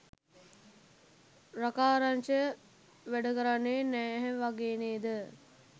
රකාරංශය වැඩ කරන්නේ නැහැ වගේ නේද?